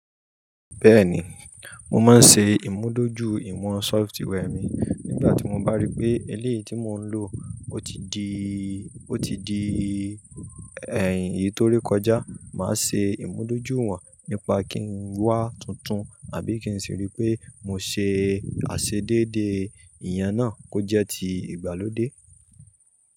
Bẹ́ẹ̀ni, mo máa ń ṣe ìmúdójúìwọ̀n software mi. Nígbà tí mo bá rí pé eléyìí tí mò ń lò ó ti di, ó ti di ẹ̀ iyì tó ré kọjá, màá ṣe ìmúdójúìwọ̀n nípa kí n wá tuntun àbí kí n sì rí pé mo ṣe àṣedéédé ìyẹn náà kó jẹ́ ti ìgbàlódé.